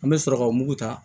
An bɛ sɔrɔ ka mugu ta